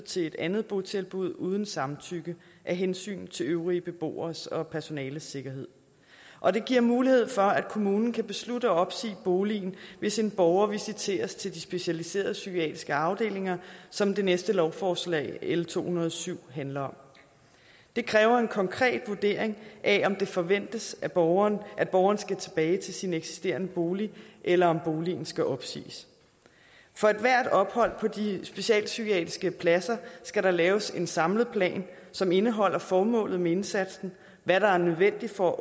til et andet botilbud uden samtykke af hensyn til de øvrige beboeres og personalets sikkerhed og det giver mulighed for at kommunen kan beslutte at opsige boligen hvis en borger visiteres til de specialiserede psykiatriske afdelinger som det næste lovforslag l to hundrede og syv handler om det kræver en konkret vurdering af om det forventes at borgeren at borgeren skal tilbage til sin eksisterende bolig eller om boligen skal opsiges for ethvert ophold på de specialpsykiatriske pladser skal der laves en samlet plan som indeholder formålet med indsatsen hvad der er nødvendigt for